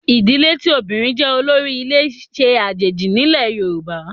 Ìdílé tí obìnrin jẹ́ olórí ilé ṣe àjèjì nílẹ̀ Yorùbá